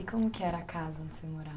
E como que era a casa onde você morava?